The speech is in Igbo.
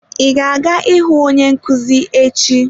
Ị ga-aga ịhụ onye nkuzi echi?